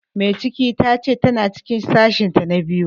Mai ciki ta ce ta na cikin sashen ta na biyu